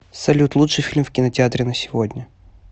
салют лучший фильм в кинотеатре на сегодня